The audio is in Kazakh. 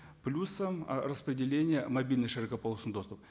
плюсом ы распределение мобильный широкополосный доступ